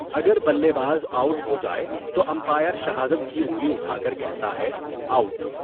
اگر بلے باز آؤٹ ہو جائے تو امپائر شہادت کی انگلی اٹھا کر کہتا ہے 'آؤٹ!.